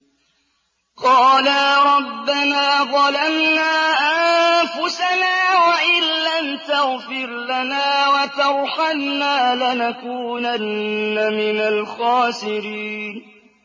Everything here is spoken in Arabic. قَالَا رَبَّنَا ظَلَمْنَا أَنفُسَنَا وَإِن لَّمْ تَغْفِرْ لَنَا وَتَرْحَمْنَا لَنَكُونَنَّ مِنَ الْخَاسِرِينَ